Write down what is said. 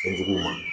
Fɛn juguw ma